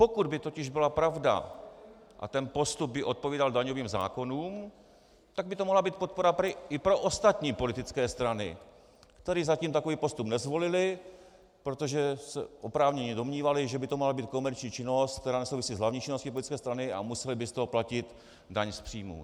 Pokud by totiž byla pravda a ten postup by odpovídal daňovým zákonům, tak by to mohla být podpora i pro ostatní politické strany, které zatím takový postup nezvolily, protože se oprávněně domnívaly, že by to mohla být komerční činnost, která nesouvisí s hlavní činností politické strany, a musely by z toho platit daň z příjmů.